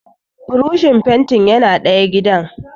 Burushin fentin yana ɗayan gidan